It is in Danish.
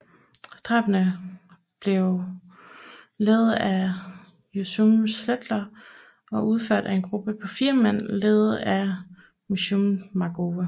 Drabene blev ledede af Yehoshua Zetler og udført af en gruppe på fire mand ledet af Meshulam Markover